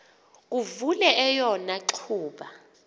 kuvele eyona ngxuba